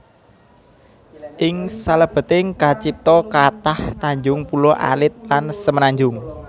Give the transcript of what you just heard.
Ing salebeting kacipta kathah tanjung pulo alit lan semenanjung